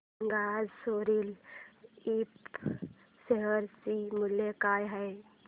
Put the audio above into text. सांगा आज Soril Infra share चे मूल्य काय आहे